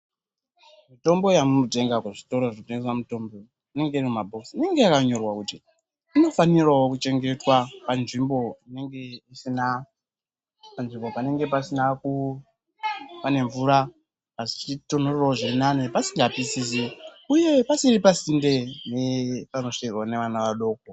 Mitombo yamuno tenga mu zvitoro zvino tengesa inenge iri mu mabhokisi inenge yaka nyorwa kuti ino fanirawo ku chengetwa panzvimbo inenge isina panzvimbo panenge pasina kuva pane mvura asi chichi tonhorera zviri nane pasinga pisisi uye pasiri pasinde ne pano svikirwe ne vana vadoko.